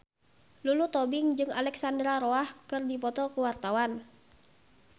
Lulu Tobing jeung Alexandra Roach keur dipoto ku wartawan